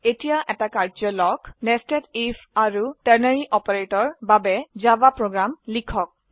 নিৰ্দেশিত কাৰ্যয় 000822 00816023 Nested Ifআৰু টাৰ্নাৰী অপাৰেটৰ্ছ এৰ বাবে জাভা প্ৰোগ্ৰাম লিখক